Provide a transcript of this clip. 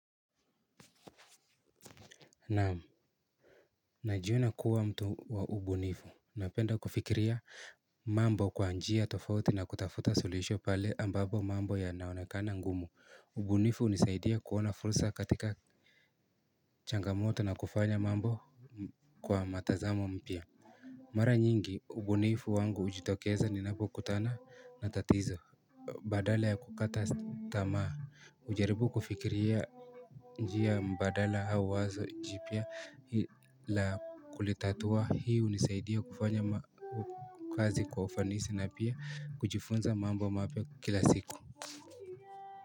Naam najiona kuwa mtu wa ubunifu ubunifu hunisaidia kuona fursa katika changamoto na kuona mambo katika mtazamo mpya. Mara nyingi, ubunifu wangu hujitokeza ninapokutana na tatizo badala ya kukata tamaa hujaribu kufikiria njia mbadala au wazo jipya la kulitatua hii hunisaidia kufanya ma kazi kwa ufanisi na pia kujifunza mambo mapya kila siku.